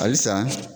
Halisa